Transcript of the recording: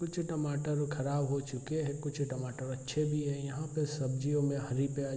कुछ टमाटर खराब हो चुके है कुछ टमाटर अच्छे भी हैं यहां पर सब्जियों में हरी प्याज --